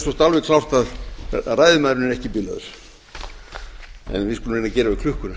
ekki bilaður en við skulum reyna að gera við klukkuna